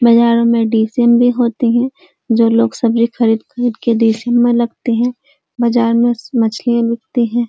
बाजार में डीसीएम भी होते हैं जो लोग सब्ज़ी खरीद खरीद कर डीसीएम में लगते हैं। बाजार में मछलीयाँ बिकते हैं।